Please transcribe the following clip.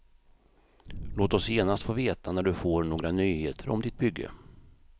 Låt oss genast få veta när du får några nyheter om ditt bygge.